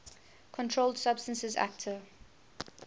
controlled substances acte